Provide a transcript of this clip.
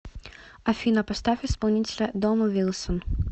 афина поставь исполнителя домо вилсон